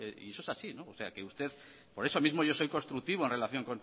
y eso es así por eso mismo yo soy constructivo en relación